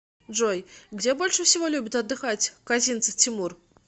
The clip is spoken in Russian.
джой где больше всего любит отдыхать козинцев тимур